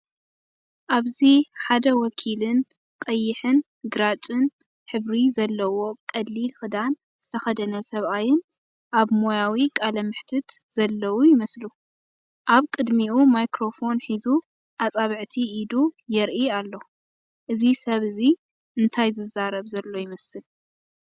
ኣብዚ ሓደ ወኪልን ቀይሕን ግራጭን ሕብሪ ዘለዎ ቀሊል ክዳን ዝተከደነ ሰብኣይን ኣብ ሞያዊ ቃለ መሕትት ዘለዉ ይመስሉ። ኣብ ቅድሚኡ ማይክሮፎን ሒዙ ኣጻብዕቲ ኢዱ የርኢ ኣሎ። እዚ ሰብ እዚ እንታይ ዝዛረብ ዘሎ ይመስል?